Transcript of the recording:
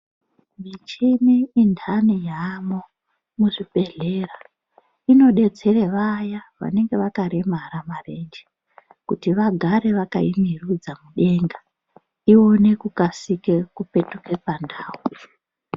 Michini indani yaamwo muzvibhedhlera inodetsera vaya vanenge vakaremara marenge. Kuti vagare vakaimerudza mudenga ione kukasike kupetuke pandau.